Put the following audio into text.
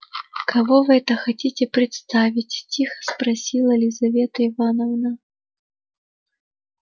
кого это вы хотите представить тихо спросила лизавета ивановна